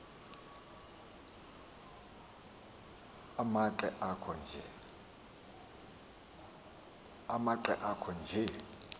amanqe akho nje